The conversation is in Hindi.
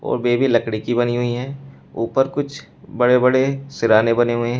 और लकड़ी की बनी हुई है ऊपर कुछ बड़े बड़े सिरहाने बने हुए हैं।